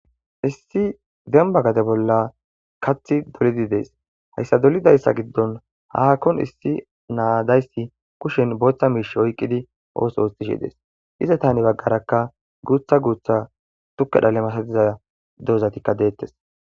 issi demba gade bolla kathi dolidi dees hayssa dolidayssa giddon haakkon issi naadayssi kushen booththa miish oyqqidi ooso oostishi dees izetani baggarakka guutha guutha tukka dhale masadiza dozatikka deettes